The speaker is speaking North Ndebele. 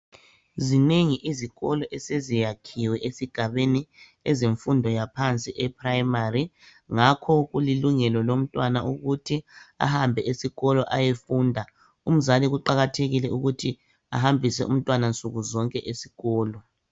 Zinengi izikolo eseziyakhiwe esigabeni ezemfundo yaphansi eprimary ngakho kulilungelo lomtwana ukuthi ahambe esikolo ayefunda umzali kuqakathekile ukuthi ahambise umtwana nsuku zonke esikolo